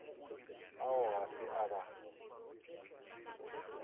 ao ga se a ba